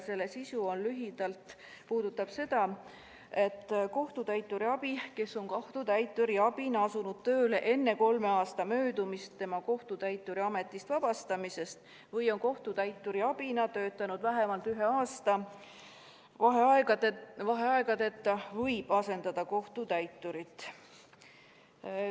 Selle sisu on lühidalt see, et kohtutäituri abi, kes on kohtutäituri abina asunud tööle enne kolme aasta möödumist kohtutäituri ametist vabastamisest või on kohtutäituri abina töötanud vähemalt ühe aasta vaheaegadeta, võib asendada kohtutäiturit.